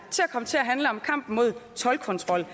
til at handle om kampen mod toldkontrol